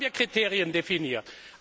Dann haben wir Kriterien definiert.